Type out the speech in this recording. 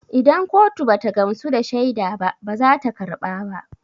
Idan kotu bata gamsu da shaida ba bazata karba ba